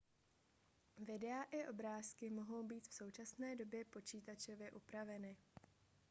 videa i obrázky mohou být v současné době počítačově upraveny